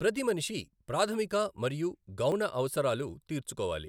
ప్రతిమనిషి ప్రాధమిక మరియు గౌణ అవసరాలు తీర్చుకోవాలి.